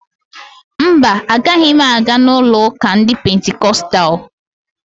Mba, agaghị m aga n'ụlo ụka ndị Pentikostalụ